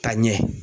Ka ɲɛ